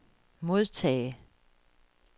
modtage